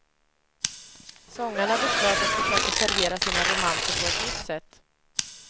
Sångarna beslöt att försöka servera sina romanser på ett nytt sätt.